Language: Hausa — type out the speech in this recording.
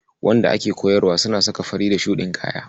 Wanda ake koyarwa suna saka fari da shuɗin kaya.